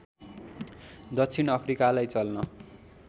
दक्षिण अफ्रिकालाई चल्न